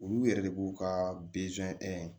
Olu yɛrɛ de b'u ka